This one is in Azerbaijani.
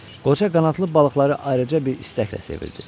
Qoca qanadlı balıqları ayrıca bir istəklə sevirdi.